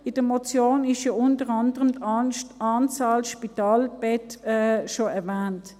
In der Motion ist ja unter anderem die Anzahl Spitalbetten schon erwähnt.